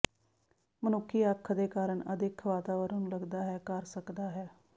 ਮਨੁੱਖੀ ਅੱਖ ਦੇ ਕਾਰਨ ਅਦਿੱਖ ਵਾਤਾਵਰਣ ਨੂੰ ਲੱਗਦਾ ਹੈ ਕਰ ਸਕਦਾ ਹੈ